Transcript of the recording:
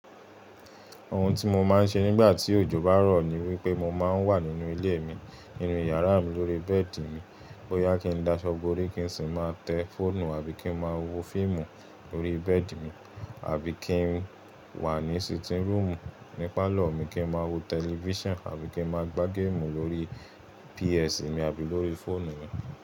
Ohun tí mo máa ń ṣe nígbà tí òjò bá rọ̀ ni wípé mo máa ń wà nínú ilé mi, nínú yàrá mi, lórí bẹ́ẹ̀dì mi. Boyá kí n dáṣọ́ borí kinsí máa tẹ fọ́ọ̀nù àbí kí n máa wo fíìmù lórí bẹ́ẹ̀dì mi, àbí kí n wà ní sitting room ní pálọ̀ mi kí n máa wo tẹlifíṣànà, àbí kí n máa gbá géèmù lórí PS mi, àbí lórí fóònù mi.